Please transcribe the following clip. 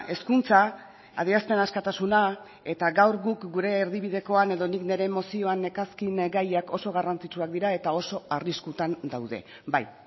hezkuntza adierazpen askatasuna eta gaur guk gure erdibidekoan edo nik nire mozioan nekarren gaiak oso garrantzitsuak dira eta oso arriskutan daude bai